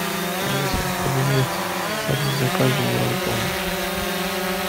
алиса поменяй статус заказа на выполнен